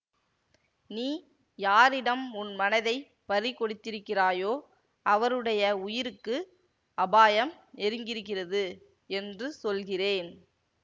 நீ யாரிடம் உன் மனதைப் பறி கொடுத்திருக்கிறாயோ அவருடைய உயிருக்கு அபாயம் நெருங்கியிருக்கிறது என்று சொல்கிறேன்